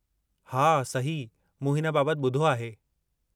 हा, सही, मूं हिन बाबति ॿुधो आहे।